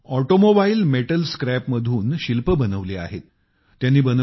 त्यांनी automobile metal स्क्रॅपमधून शिल्प बनवली आहेत